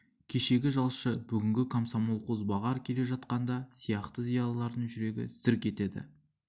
кешегі жалшы бүгінгі комсомол қозбағар келе жатқанда сияқты зиялылардың жүрегі зірк етеді